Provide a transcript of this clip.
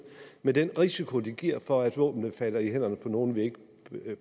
med den risiko det giver for at våbnene falder i hænderne på nogen vi ikke